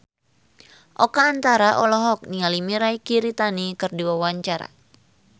Oka Antara olohok ningali Mirei Kiritani keur diwawancara